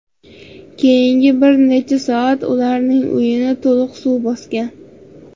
Keyingi bir necha soatda ularning uyini to‘liq suv bosgan.